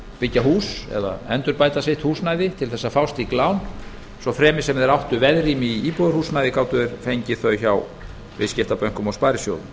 byggja hús eða endurbæta sitt húsnæði til að fá slíkt lán svo fremi sem þeir áttu veðrými í íbúðarhúsnæði gátu þeir fengið þau hjá viðskiptabönkum og sparisjóðum